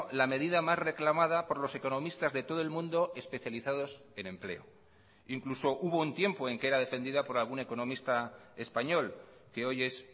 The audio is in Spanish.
la medida más reclamada por los economistas de todo el mundo especializados en empleo incluso hubo un tiempo en que era defendida por algún economista español que hoy es